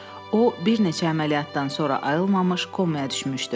O bir neçə əməliyyatdan sonra ayılmamış komaya düşmüşdü.